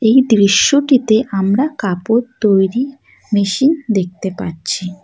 এই দৃশ্যটিতে আমরা কাপড় তৈরির মেশিন দেখতে পাচ্ছি।